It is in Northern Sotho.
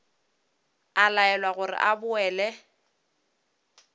a laelwa gore a boele